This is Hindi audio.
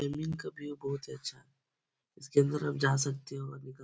ये का व्यू बहुत अच्छा। इसके अन्दर आप जा सकते हो और निकल --